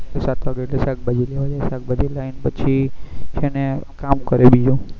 પછી સાત વાગે એટલે શાકભાજી લેવા જાય શાકબાજી લાવીન પછી એને કામ કરે બીજું